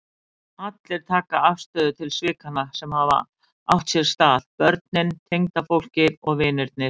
Allir taka afstöðu til svikanna sem hafa átt sér stað, börnin, tengdafólkið, vinirnir.